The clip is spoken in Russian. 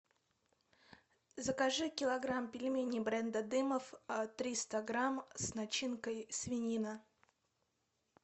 закажи килограмм пельменей бренда дымов триста грамм с начинкой свинина